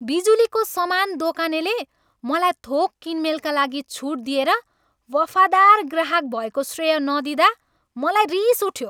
बिजुलीको समान दोकानले मलाई थोक किनमेलका लागि छुट दिएर वफादार ग्राहक भएको श्रेय नदिँदा मलाई रिस उठ्यो।